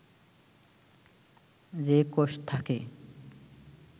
যে কোষ থাকে